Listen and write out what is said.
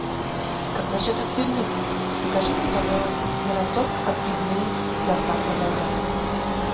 как насчет отбивных закажи мне пожалуйста мираторг отбивные с доставкой на дом